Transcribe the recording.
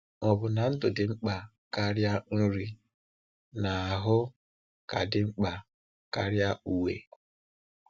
Ò bụ na ndụ ka dị mkpa karịa nri, na ahụ ka dị ka dị mkpa karịa uwe?